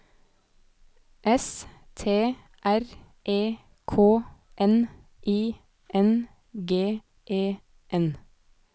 S T R E K N I N G E N